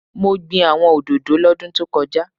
Mo gbin àwọn òdòdó lọ́dún tókojá